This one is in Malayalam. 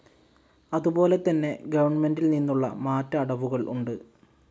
അതുപോലെതന്നെ ഗവൺമെന്റിൽനിന്നുള്ള മാറ്റ അടവുകൾ ഉണ്ട്.